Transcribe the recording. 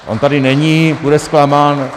On tady není, bude zklamán.